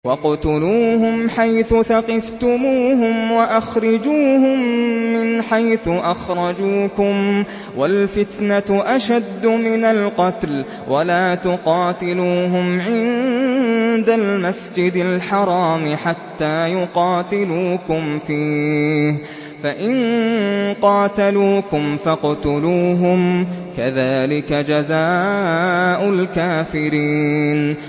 وَاقْتُلُوهُمْ حَيْثُ ثَقِفْتُمُوهُمْ وَأَخْرِجُوهُم مِّنْ حَيْثُ أَخْرَجُوكُمْ ۚ وَالْفِتْنَةُ أَشَدُّ مِنَ الْقَتْلِ ۚ وَلَا تُقَاتِلُوهُمْ عِندَ الْمَسْجِدِ الْحَرَامِ حَتَّىٰ يُقَاتِلُوكُمْ فِيهِ ۖ فَإِن قَاتَلُوكُمْ فَاقْتُلُوهُمْ ۗ كَذَٰلِكَ جَزَاءُ الْكَافِرِينَ